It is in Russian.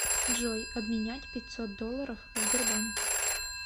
джой обменять пятьсот долларов в сбербанке